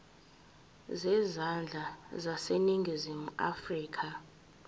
zezandla zaseningizimu afrika